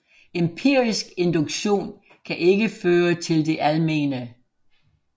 Empirisk induktion kan ikke føre til det almene